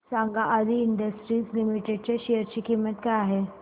सांगा Aadi industries limited च्या share ची किंमत किती आहे